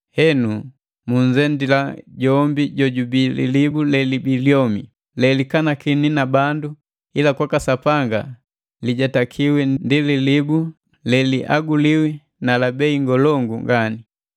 Henu munzendila jombi jojubii lilibu lelibii lyomi, lelikanakiwi na bandu ila kwaka Sapanga lijetakiwi ndi lilibu le lihaguliwi na la bei ngolongu nganii.